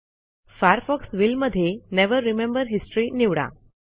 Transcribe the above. Firefox will मधे never remember history निवडा